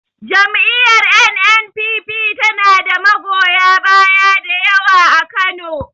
Jam'iyar N.N.P.P ta na da magoya baya dayawa a Kano